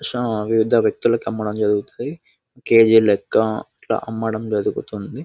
వివిధ వ్యక్తులకి అమ్మడం జరుగుతది. కె_జి లెక్క ఇట్లా అమ్మడం జరుగుతుంది.